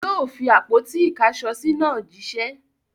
Yóò fi àpótí-ìkáṣọsí náà jíṣẹ́!